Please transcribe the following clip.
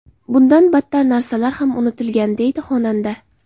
Bundan battar narsalar ham unutilgan”, deydi xonanda.